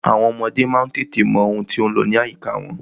Àwọn ọmọdé má ń tètè mọ ohun tí ó ń lọ ní àyíká wọn.